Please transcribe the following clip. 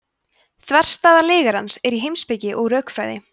þverstæða lygarans er í heimspeki og rökfræði